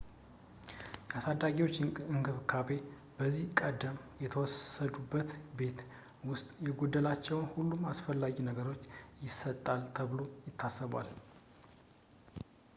የአሳዳጊዎች እንክብካቤ ከዚህ ቀደም በተወሰዱበት ቤት ውስጥ የጎደላቸውን ሁሉንም አስፈላጊ ነገሮች ይሰጣል ተብሎ ይታሰባል